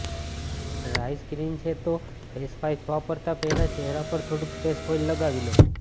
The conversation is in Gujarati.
ડ્રાય સ્કિન છે તો ફેસ વાઈપ્સ વાપરતાં પહેલાં ચહેરા પર થોડુંક ફેસ ઓઈલ લગાવી લો